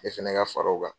Ne fɛnɛ ka fara o kan